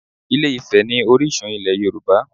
Ilé-Ifẹ̀ ni orísun ilẹ̀ Yorùbá